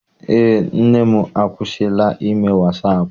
Eé, nne m akwụsila ime wasaapụ.